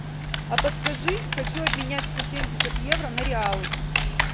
а подскажи хочу обменять сто семьдесят евро на реалы